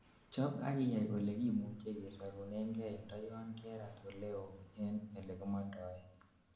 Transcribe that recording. chob akiyai olekimuchei kesorunengei ndoyon kerat oleo en elekimondoen